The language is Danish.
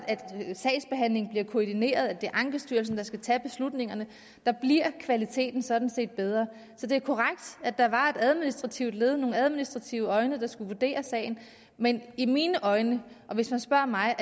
sagsbehandlingen bliver koordineret og at det er ankestyrelsen der skal tage beslutningerne der bliver kvaliteten sådan set bedre så det er korrekt at der var et administrativt led nogle administrative øjne der skulle vurdere sagen men i mine øjne og hvis man spørger mig